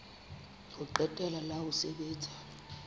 ho qetela la ho sebetsa